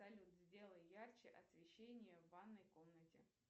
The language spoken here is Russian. салют сделай ярче освещение в ванной комнате